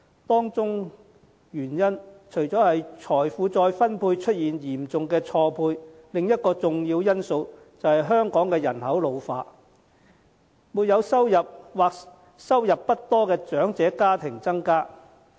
當中原因除了在財富再分配方面出現嚴重錯配外，另一個重要因素是香港人口老化，沒有收入或收入不多的長者家庭數目增加。